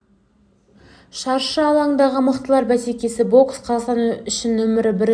шаршы алаңдағы мықтылар бәсекесі бокс қазақстан үшін нөмірі бірінші спортқа айналғалы қашан олимп ойындарын айтпағанда әлем